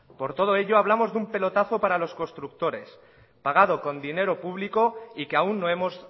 por todo ello hablamos de un pelotazo para los constructores pagado con dinero público y que aún no hemos